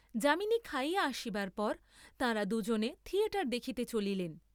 যামিনী খাইয়া আসিবার পর তাঁরা দুজনে থিয়েটার দেখিতে চলিলেন।